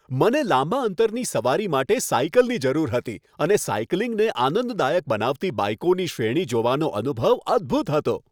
મને લાંબા અંતરની સવારી માટે સાઇકલની જરૂર હતી અને સાઇકલિંગને આનંદદાયક બનાવતી બાઇકોની શ્રેણી જોવાનો અનુભવ અદ્ભૂત હતો.